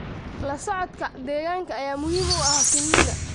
La socodka deegaanka ayaa muhiim u ah shinnida.